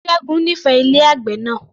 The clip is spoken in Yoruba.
Ṣẹ́gun nífẹẹ ilé àgbè náà